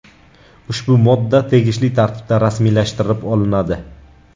Ushbu modda tegishli tartibda rasmiylashtirilib olinadi.